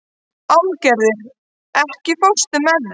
Álfgerður, ekki fórstu með þeim?